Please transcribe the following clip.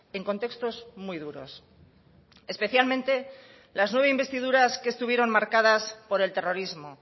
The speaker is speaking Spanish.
en contextos muy duros especialmente las nueve investiduras que estuvieron marcadas por el terrorismo